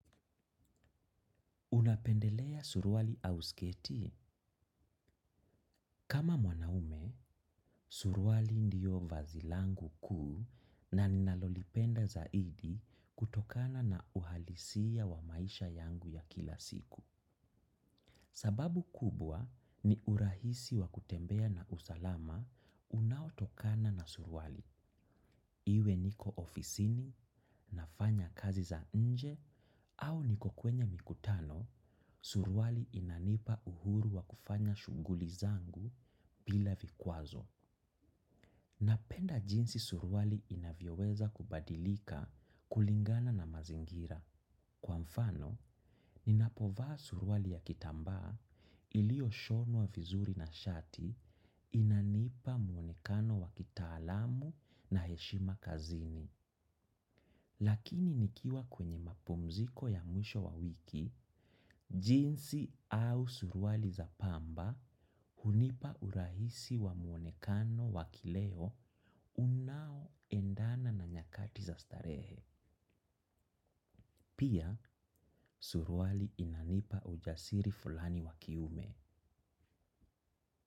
Unapendelea suruali au sketi? Kama mwanaume, suruali ndiyo vazi langu kuu na ninalolipenda zaidi kutokana na uhalisia wa maisha yangu ya kila siku. Sababu kubwa ni urahisi wa kutembea na usalama unautokana na suruali. Iwe niko ofisini, nafanya kazi za nje, au niko kwenye mikutano, suruali inanipa uhuru wa kufanya shunghuli zangu bila vikwazo. Napenda jinsi suruali inavyeweza kubadilika kulingana na mazingira. Kwa mfano, ninapovaa suruali ya kitambaa ilio shonwa vizuri na shati, inanipa muonekano wa kitaalamu na heshima kazini. Lakini nikiwa kwenye mapumziko ya mwisho wa wiki, jinzi au suruali za pamba hunipa urahisi wa muonekano wakileo unaoendana na nyakati za starehe. Pia, suruali inanipa ujasiri fulani wa kiume.